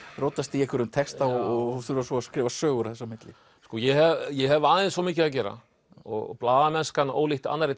rótast í einhverjum texta og þurfa svo að skrifa sögur þess á milli sko ég hef ég hef aðeins of mikið að gera og blaðamennskan ólíkt annarri